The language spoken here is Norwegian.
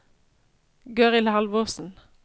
Gøril Halvorsen